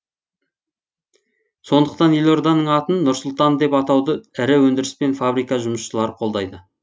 сондықтан елорданың атын нұр сұлтан деп атауды ірі өндіріс пен фабрика жұмысшылары қолдайды